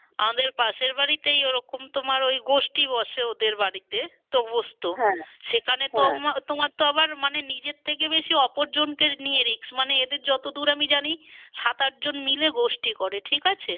আমাদের পাশের বাড়িতেই ওরকম তোমার ওই গোষ্ঠী বসে ওদের বাড়িতে তো সেখানে তোমার তো আবার মানে নিজের থেকে বেশি অপর জনকে নিয়ে risk মানে এদের যতদূর আমি জানি সাত আটজন মিলে গোষ্ঠী করে ঠিক আছে।